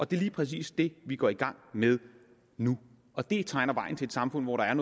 det er lige præcis det vi går i gang med nu og det tegner vejen til et samfund hvor der